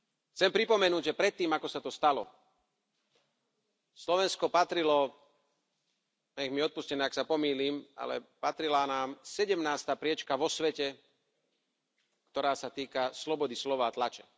Chcem pripomenúť, že predtým ako sa to stalo Slovensko patrilo, nech mi odpustia, ak sa pomýlim, ale patrila nám sedemnásta priečka vo svete, ktorá sa týka slobody slova a tlače.